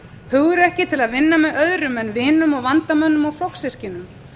hugrekki til að vinna með öðrum en vinum og vandamönnum og flokkssystkinum